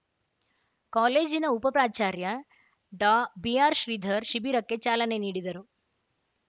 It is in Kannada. ಕಾಲೇಜಿನ ಉಪ ಪ್ರಾಚಾರ್ಯ ಡಾಬಿಆರ್‌ಶ್ರೀಧರ ಶಿಬಿರಕ್ಕೆ ಚಾಲನೆ ನೀಡಿದರು